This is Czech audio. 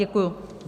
Děkuji.